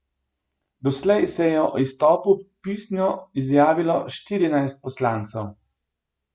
Doslej se je o izstopu pisno izjavilo štirinajst poslancev.